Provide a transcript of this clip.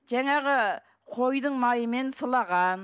жаңағы қойдың майымен сылаған